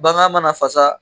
Bagan mana fasaa